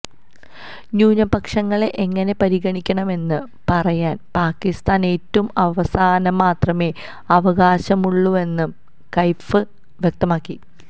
ന്യൂനപക്ഷങ്ങളെ എങ്ങനെ പരിഗണിക്കണമെന്ന് പറയാന് പാക്കിസ്ഥാന് ഏറ്റവും അവസാനം മാത്രമെ അവകാശമുള്ളൂവെന്നും കൈഫ് വ്യക്തമാക്കി